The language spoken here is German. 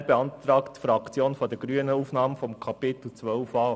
Daher beantragt die Fraktion der Grünen die Aufnahme des Kapitels 12a.